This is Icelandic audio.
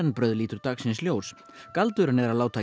brauð lítur dagsins ljós galdurinn er að láta